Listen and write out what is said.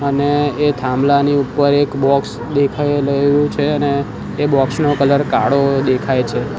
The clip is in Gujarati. અને એ થાંભલાની ઉપર એક બોક્સ દેખાય રહ્યું છે અને એ બોક્સ નો કલર કાળો દેખાય છે.